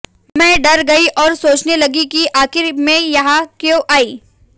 मैं डर गई और सोचने लगी कि आखिर मैं यहां क्यों आई